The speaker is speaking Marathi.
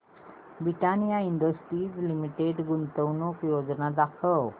ब्रिटानिया इंडस्ट्रीज लिमिटेड गुंतवणूक योजना दाखव